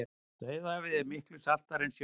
dauðahafið er miklu saltara en sjórinn